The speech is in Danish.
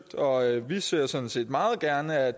vi ser sådan set meget gerne at